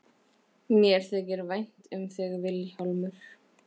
Mér þykir vænt um þig Vilhjálmur.